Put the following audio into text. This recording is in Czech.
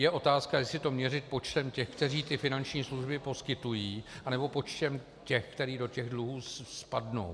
Je otázka, jestli to měřit počtem těch, kteří ty finanční služby poskytují, anebo počtem těch, kteří do těch dluhů spadnou.